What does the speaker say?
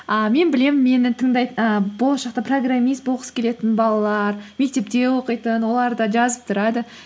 а мен білемін менің болашақта программист болғысы келетін балалар мектепте оқитын олар да жазып тұрады